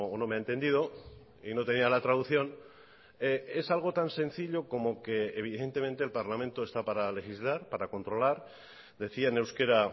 no me ha entendido y no tenía la traducción es algo tan sencillo como que evidentemente el parlamento está para legislar para controlar decía en euskera